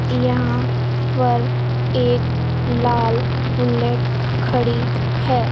यहां पर एक लाल बुलेट खड़ी है।